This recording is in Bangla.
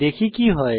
দেখি কি হয়